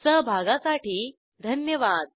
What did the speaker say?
सहभागासाठी धन्यवाद